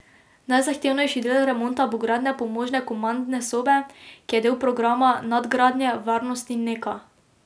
Najzahtevnejši del remonta bo gradnja pomožne komandne sobe, ki je del programa nadgradnje varnosti Neka.